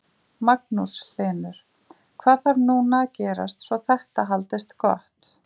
Magnús Hlynur: Hvað þarf núna að gerast svo þetta haldist gott?